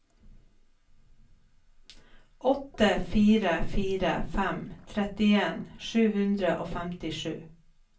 åtte fire fire fem trettien sju hundre og femtisju